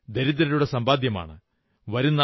ഇത് ദരിദ്രരുടെ സമ്പാദ്യമാണ്